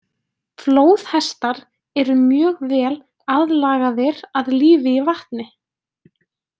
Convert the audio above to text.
Flóðhestar eru mjög vel aðlagaðir að lífi í vatni.